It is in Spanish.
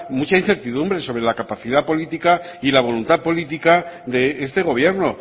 mucha incertidumbre sobre la capacidad política y la voluntad política de este gobierno